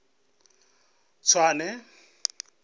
tswane